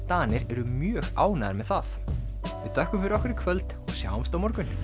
Danir eru mjög ánægðir með það við þökkum fyrir okkur í kvöld og sjáumst á morgun